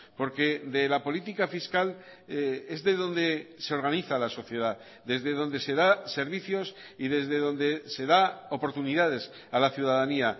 porque de la política fiscal es de donde se organiza la sociedad desde donde se da servicios y desde donde se da oportunidades a la ciudadanía